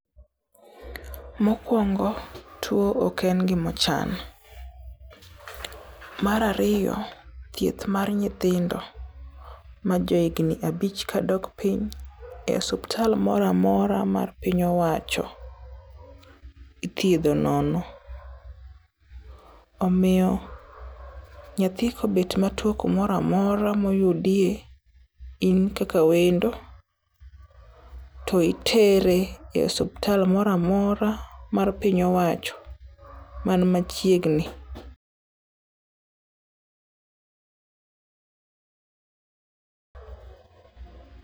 Mokwongo, two oken gima ochan. Marario, theith mar nyithindo majo igni abich kadok piny e osuptal mora mora mar piny owacho ithiedho nono. Omio nyathi kobet matwo kumora mora moyudie, inkaka wendo to itere e osuptal moramora mar piny owacho man machiegni.